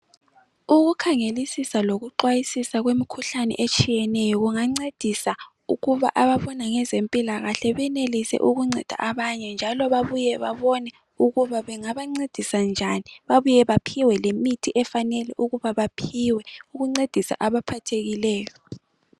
Ukukhangelisisa lokuxwayisisa kwemikhuhlane etshiyeneyo kungancedisa ukuba abafunda ngezempilakahle benelise ukunceda abanye njalo babuye babone ukuba bengabancedisa njani babuye baphiwe lemithi efanele ukuba baphiwe ukuncedisa abaphathekileyo.